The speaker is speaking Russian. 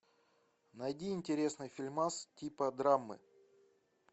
найди интересный фильмас типа драмы